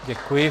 Děkuji.